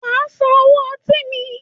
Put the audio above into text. Wàá San owó ọtí mi.